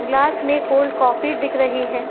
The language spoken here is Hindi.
ग्लास में कोल्ड काफ़ी दिख रही है।